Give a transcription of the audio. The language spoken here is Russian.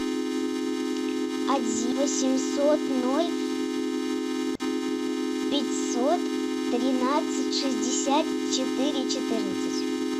один восемьсот ноль пятьсот тринадцать шестьдесят четыре четырнадцать